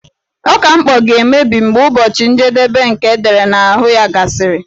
Ọka mkpọ ga-emebi mgbe ụbọchị njedebe nke edere n'ahụ ya gasịrị.